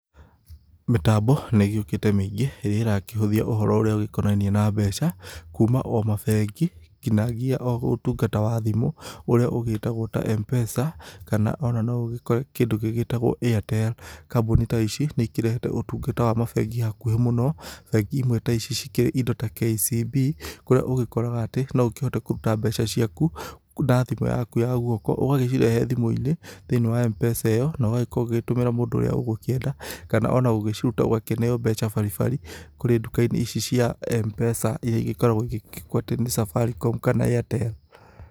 Mĩtambo nĩ ĩgĩũkĩte mĩingĩ ĩrĩa ĩrakĩhũthia ũhoro ũrĩa ũgĩkonainie na mbeca, kuuma o mabengi nginagia o ũtungata wa thimo ũrĩa ũgitagwo ta Mpesa kana ona no ũgikore kindũ gĩ gĩtagwo Airtel. Kambuni ta ici, nĩ ikĩrehete ũtungata wa mabengi hakuhi mũno, bengi imwe ta ici cikĩ indo ta KCB, kũrĩa ũgĩkoraga atĩ no ũkĩhote kũruta mbeca ciakũ, na thimu yaku ya gwoko, ũgagĩcirehe thimũ-inĩ thĩinĩ wa Mpesa ĩyo no ũgagĩkorwo ũgĩtũmĩra mũndũ ũria ũgũkienda kana ũgĩciruta ũgakĩneo mbeca baribari kũrĩ nduka-inĩ ici cia Mpesa iria ikoragwo igĩkwatĩ nĩ Safaricomu kana Airtel